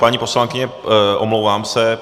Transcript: Paní poslankyně, omlouvám se.